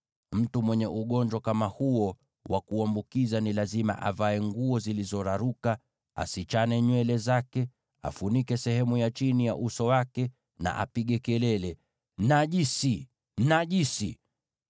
“Mtu mwenye ugonjwa kama huo wa kuambukiza ni lazima avae nguo zilizoraruka, awachilie nywele zake bila kuzichana, afunike sehemu ya chini ya uso wake, na apige kelele, ‘Najisi! Najisi!’